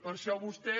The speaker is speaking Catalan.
per això vostè